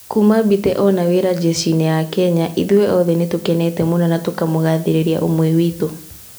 "Kuuma Mbite one wĩra jeshi-inĩ ya Kenya, ithuĩ othe nĩ tũkenete mũno na tũkamũgathĩrĩria ũmwe witũ".